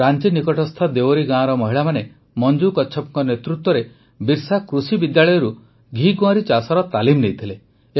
ରାଂଚି ନିକଟସ୍ଥ ଦେୱରୀ ଗାଁର ମହିଳାମାନେ ମଞ୍ଜୁ କଚ୍ଛପଙ୍କ ନେତୃତ୍ୱରେ ବିର୍ସା କୃଷି ବିଦ୍ୟାଳୟରୁ ଘିକୁଆଁରୀ ଚାଷର ତାଲିମ ନେଇଥିଲେ